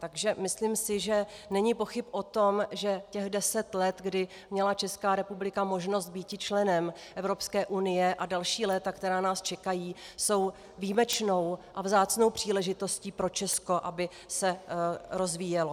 Takže myslím si, že není pochyb o tom, že těch deset let, kdy měla Česká republika možnost býti členem Evropské unie, a další léta, která nás čekají, jsou výjimečnou a vzácnou příležitostí pro Česko, aby se rozvíjelo.